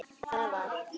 Það var.